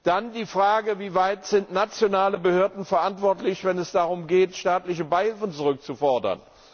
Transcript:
Dann die Frage, wieweit nationale Behörden verantwortlich sind, wenn es darum geht, staatliche Beihilfen zurückzufordern.